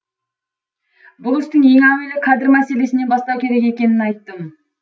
бұл істі ең әуелі кадр мәселесінен бастау керек екенін айттым